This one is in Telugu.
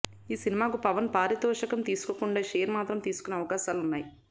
ఈ సినిమాకు పవన్ పారితోషికం తీసుకోకుండా షేర్ మాత్రం తీసుకునే అవకాశాలు ఉన్నాయి